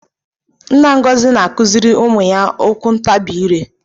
Nna Ngozi na-akụziri ụmụ ya okwuntabi ire